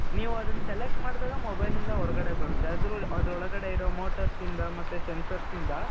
ನೀವು ಅದನ್ನ select ಮಾಡಿದಾಗ mobile ಇಂದ ಹೊರಗಡೆ ಬರುತ್ತೆ ಅದರ ಒಳಗಡೆ ಇರೋ motorsಯಿಂದ ಮತ್ತೆ censorsಯಿಂದ .